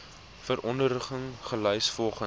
verordeninge gelys volgens